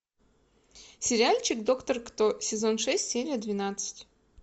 сериальчик доктор кто сезон шесть серия двенадцать